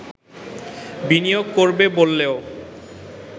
বিনিয়োগ করবে করবে বললেও